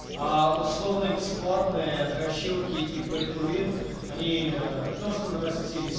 аа условно бесплатные дрочилки и пей то вин они не то что наростились